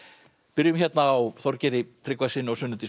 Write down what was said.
byrjum á Þorgeiri Tryggvasyni og Sunnu Dís